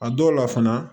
A dɔw la fana